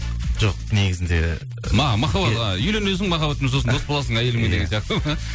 жоқ негізінде ы үйленесің махаббатпен сосын дос боласың әйеліңмен деген сияқты